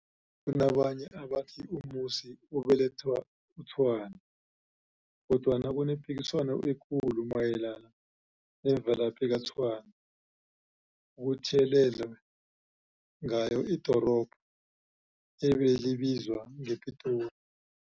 Kunabanye abathi uMusi ubeletha uTshwane, kodwana kunepikiswano ekulu mayelana nemvelaphi kaTshwane okuthiyelelwe ngaye idorobho ebelibizwa ngePitori.